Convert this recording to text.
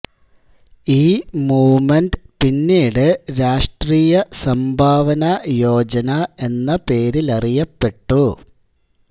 ഈ മൂവ്മെന്റ് പിന്നീട് രാഷ്ട്രീയ സംഭാവന യോജന എന്ന പേരിലറിയപ്പെട്ടു